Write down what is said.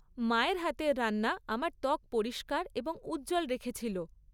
মায়ের হাতের রান্না আমার ত্বক পরিষ্কার এবং উজ্জ্বল রেখেছিল।